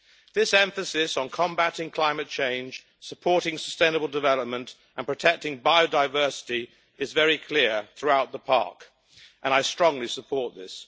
This emphasis on combating climate change, supporting sustainable development and protecting biodiversity is very clear throughout the PARC, and I strongly support this.